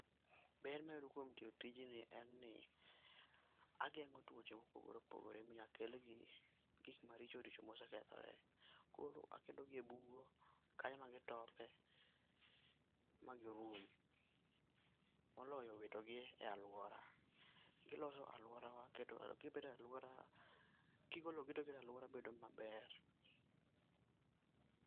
Ber mayudo kuom tiyo tijni en ni, ageng'o tuoche mopogre opogre minya kel gi gik maricho richo mosekethore. Koro akelogi e bugo, kanyo ema gitopie magirum. Moloyo wito gi e alwora. Kigologi to giketo alwora bedo maber.